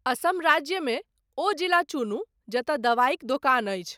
असम राज्यमे ओ जिला चुनु जतय दवाइक दोकान अछि।